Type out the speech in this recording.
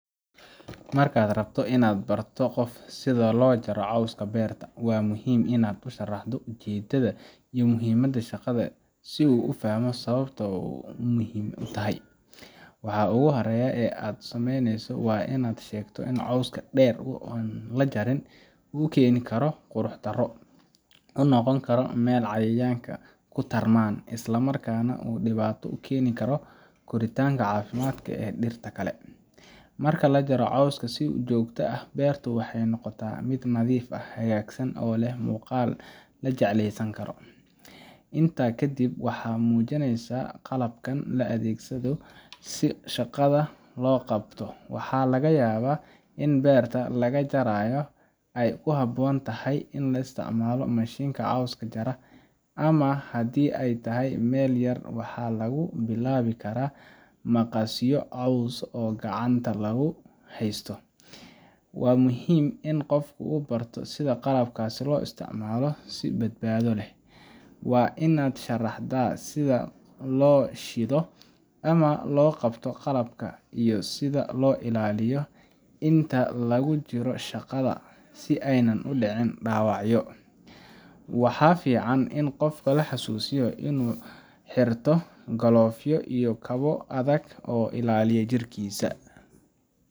Mark rabtoh Ina bartoh setha lojarih cooska beerta wa muhim Ina u sharaxdoh u jeedetha iyo muhimada shaqatha si u fahmoh muhimada shaqada, oo muhim u tahay waxa ugu hori ee aa sameeyneysoh wa in cooska dheer lajareen oo keeni karoh quruxdaro oo naqon karoh ml cayayanga kutarman Isla markan debada u geeni karoh cafimd daroh deerta Kali, marki lajaroh cooska si ujokta beeerta waxaynoqotah mid wanagsan natheef aah oo leeh muqal lajeclesankaroh , inta kadib waxa mujineysah qalabka kadib si shaqatha lobQabtoh waxa lagayabah ini beerta lagajarayoh ay kuhaboonthay ini la isticmalah machine ka cooska jaroh, amah handi ayatahay meel yar waxalagu bilawi karah maqasyaa coos kacanta lagu haystoh, wamuhim ini Qoofka oo bartoh setha qalabka lo isticmalah si badbatholeh wa inat amah lobQabtoh qalabka biyaha iyo setha lo ilaliyoh inta lagujiroh shaqatha Ayan u dicin dawacyo waxa fican in qoofka laxasusiyoh inu xerto clove ya adega si u ilaliyah jirkisa.